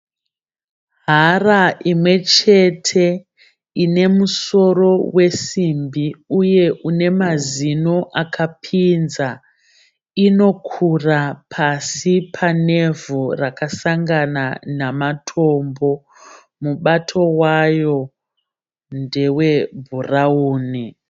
Hara imwechete ine musoro wesimbi uye une mazino akapinza. Inokura pasi panevhu rakasangana namatombo. Mubato waro ndewebhurauni